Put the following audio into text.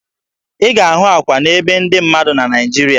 Ị ga-ahụ akwa na be ndị mmadụ na Naịjiria